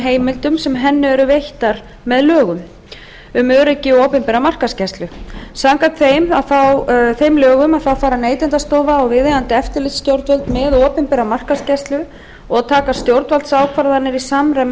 heimildum sem henni eru veittar í lögum númer hundrað þrjátíu og fjögur nítján hundruð níutíu og fimm um öryggi og opinbera markaðsgæslu samkvæmt þeim lögum fara neytendastofa og viðeigandi eftirlitsstjórnvöld með opinbera markaðsgæslu og taka stjórnvaldsákvarðanir í samræmi